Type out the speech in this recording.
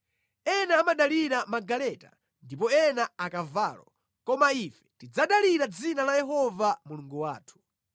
Ena amadalira magaleta ndipo ena akavalo koma ife tidzadalira dzina la Yehova Mulungu wathu.